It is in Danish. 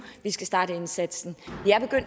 vi skal starte indsatsen